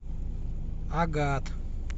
агат